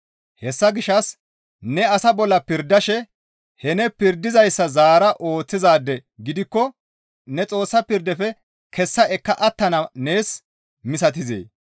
Hessa gishshas ne asa bolla pirdashe he ne pirdizayssa zaara ooththizaade gidikko ne Xoossa pirdafe kessa ekka attana nees misatizee?